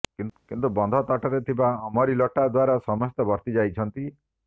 କିନ୍ତୁ ବନ୍ଧ ତଟରେ ଥିବା ଅମରି ଲଟା ଦ୍ୱାରା ସମସ୍ତେ ବର୍ତି ଯାଇଛନ୍ତି